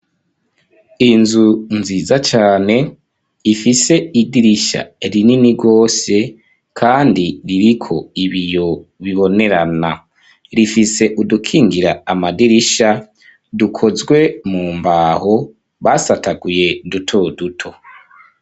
Inzu nziza cane, ifise idirisha rinini gose, kandi, ririko ibiyo bibonerana; rifise udukingira amadirisha, dukozwe mu mbaho, basataguye duto duto.